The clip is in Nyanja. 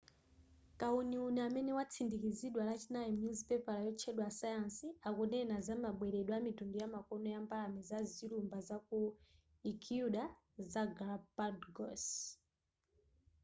kawuniwuni amene watsindikizidwa lachinayi mnyuzipepala yotchedwa science akunena zamabweredwe amitundu yamakono ya mbalame pa zilumba zaku ecuador za galápagos